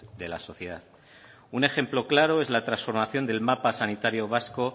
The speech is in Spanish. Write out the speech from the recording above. de la sociedad un ejemplo claro es la transformación del mapa sanitario vasco